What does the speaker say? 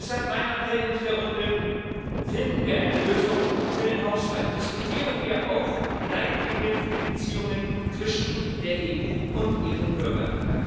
Deshalb mein Appell in dieser Runde Finden wir eine Lösung für den Haushalt, diskutieren wir auch Leitlinien für die Beziehungen zwischen der EU und ihren Bürgern!